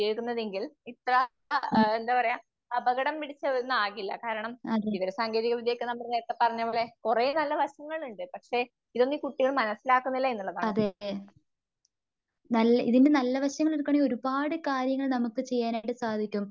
ഉം അതെയതെ ഇതിന്റെ നല്ല വശങ്ങളെടുക്കുവാണെങ്കിൽ ഒരുപാട് കാര്യങ്ങൾ നമുക്ക് ചെയ്യാനായിട്ട് സാധിക്കും.